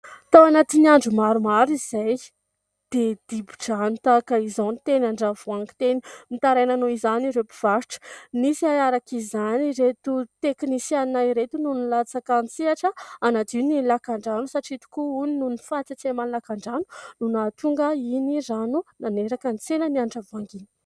Tao anatin'ny andro maromaro izay dia dibo-drano tahaka izao ny teny Andravoahangy teny. Nitaraina noho izany ireo mpivarotra, nisy naharaka izany ireto teknisiana ireto no nilatsaka an-tsehatra hanadio ny lakan-drano satria tokoa hono nony fahatsetseman'ny lakan-drano no nahatonga iny rano naneraka ny tsenan'ny Andravoahangy iny.